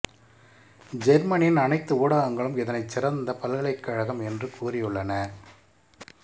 ஜெர்மனியின் அனைத்து ஊடகங்களும் இதனைச் சிறந்த பல்கலைக்கழகம் என்று கூறியுள்ளன